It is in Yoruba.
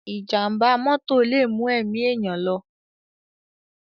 Ìjàm̀bá mọ́tò lè mú ẹ̀mí èèyàn lọ.